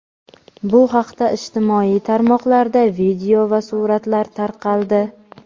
Bu haqda ijtimoiy tarmoqlarda video va suratlar tarqaldi.